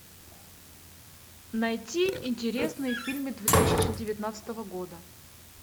найти интересные фильмы две тысячи девятнадцатого года